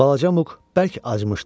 Balaca Muk bərk acımışdı.